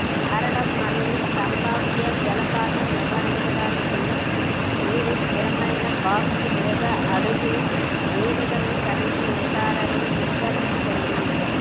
జారడం మరియు సంభావ్య జలపాతం నివారించడానికి మీరు ఒక స్థిరమైన బాక్స్ లేదా అడుగు వేదికను కలిగి ఉన్నారని నిర్ధారించుకోండి